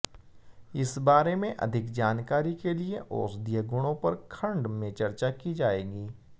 इस बारे में अधिक जानकारी के लिए औषधीय गुणों पर खंड में चर्चा की जाएगी